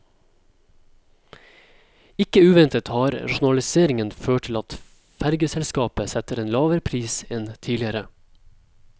Ikke uventet har rasjonaliseringen ført til at fergeselskapet setter en lavere pris enn tidligere.